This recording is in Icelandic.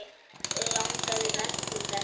Langaði mest til þess.